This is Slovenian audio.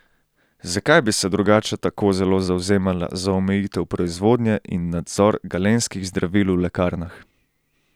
Zakaj bi se drugače tako zelo zavzemala za omejitev proizvodnje in nadzor galenskih zdravil v lekarnah?